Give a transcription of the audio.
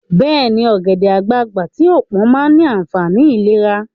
Beeni, ogede-agbagba ti o pon maa ni aafani ilera